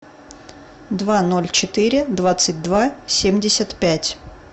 два ноль четыре двадцать два семьдесят пять